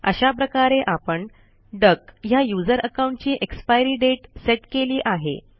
अशा प्रकारे आपण डक ह्या यूझर अकाऊंटची एक्सपायरी डेट सेट केली आहे